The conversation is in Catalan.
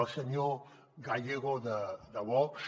al senyor gallego de vox